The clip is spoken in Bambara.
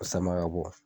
O sama ka bɔ